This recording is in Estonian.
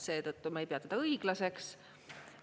Seetõttu ma ei pea seda õiglaseks.